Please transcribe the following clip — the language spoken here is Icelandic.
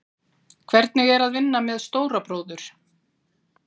Hvernig er að vinna með stóra bróður?